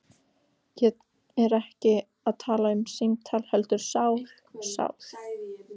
Ég er ekki að tala um símtal heldur sál. sál